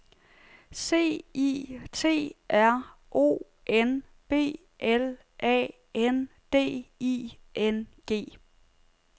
C I T R O N B L A N D I N G